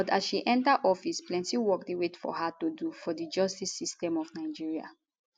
but as she enta office plenti work dey wait for her to do for di justice system of nigeria